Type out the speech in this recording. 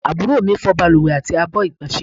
Àbúrò mi fọ́ baluwe àti àbọ̀ igbonse